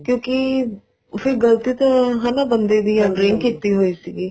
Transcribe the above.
ਕਿਉਂਕਿ ਫ਼ੇਰ ਗਲਤੀ ਤਾਂਹਨਾ ਬੰਦੇ ਦੀ ਆ drink ਕੀਤੀ ਹੋਈ ਸੀਗੀ